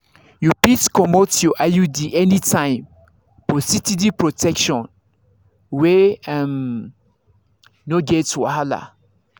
you fit comot your iud anytime for steady protection wey um no get wahala.